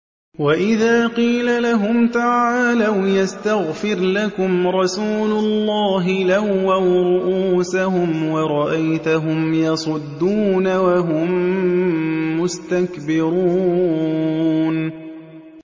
وَإِذَا قِيلَ لَهُمْ تَعَالَوْا يَسْتَغْفِرْ لَكُمْ رَسُولُ اللَّهِ لَوَّوْا رُءُوسَهُمْ وَرَأَيْتَهُمْ يَصُدُّونَ وَهُم مُّسْتَكْبِرُونَ